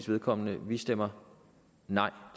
vedkommende vi stemmer nej